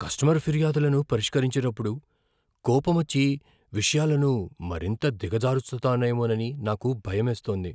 Customer ఫిర్యాదులను పరిష్కరించేటప్పుడు కోపమొచ్చి విషయాలను మరింత దిగజార్చుతానేమోనని నాకు భయమేస్తోంది.